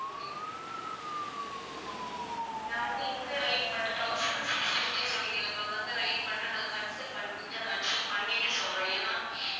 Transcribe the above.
நான் வந்து இந்த rate மட்டும் thousand six fifty சொன்னிங்கள ma'am அந்த rate மட்டும் நான் consult பண்ணி வீட்டுல consult பண்ணிட்டு சொல்றேன் ஏன்னா